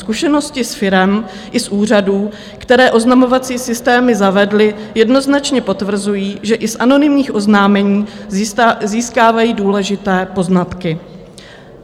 Zkušenosti z firem i z úřadů, které oznamovací systémy zavedly, jednoznačně potvrzují, že i z anonymních oznámení získávají důležité poznatky.